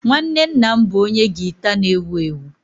Nwanne nna m bụ onye gita na-ewu ewu